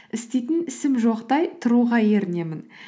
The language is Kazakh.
істейтін ісім жоқтай тұруға ерінемін